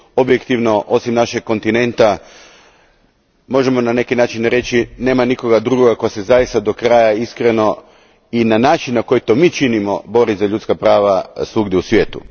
Objektivno, osim našeg kontinenta, možemo na neki način reći, nema nikoga drugoga tko se zaista do kraja iskreno, i na način na koji to mi činimo, bori za ljudska prava svugdje u svijetu.